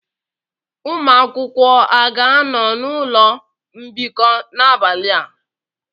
Ụmụ akwụkwọ a ga-anọ n'ụlọ mbikọ n'abalị a?